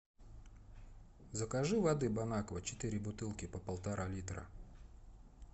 закажи воды бон аква четыре бутылки по полтора литра